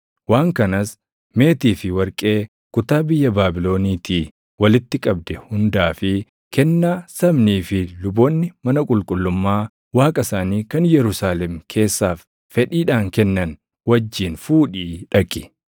waan kanas meetii fi warqee kutaa biyya Baabiloniitii walitti qabde hundaa fi kennaa sabnii fi luboonni mana qulqullummaa Waaqa isaanii kan Yerusaalem keessaaf fedhiidhaan kennan wajjin fuudhii dhaqi.